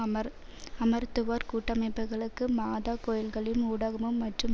அமர்அமர்த்துவோர் கூட்டமைப்புக்களும் மாதா கோயில்களும் ஊடகமும் மற்றும்